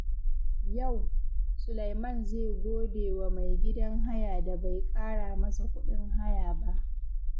Yau, Sulaiman zai gode wa mai gidan haya da bai ƙara masa kuɗin haya ba.